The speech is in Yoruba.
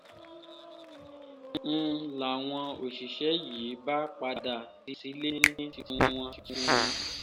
n làwọn òṣìṣẹ́ yìí bá padà ní tiwọn tiwọn